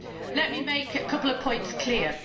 Let me make a couple of points clear.